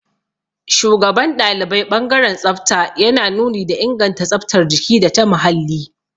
Shugaban ɗalibai ɓangaren tsafta yana nuni da inganta tsaftar jiki data muhalli.